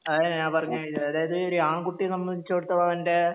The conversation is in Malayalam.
അതാ ഞാൻ പറഞ്ഞെ അതായത് ആൺകുട്ടിയെ സംബന്ധിച്ചിടത്തോളം അവൻറെ